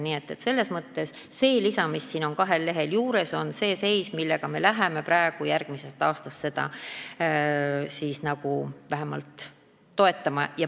Nii et selles mõttes see lisa, mis on siin kahel lehel juures, on see seis, mida me läheme järgmisest aastast vähemalt taotlema.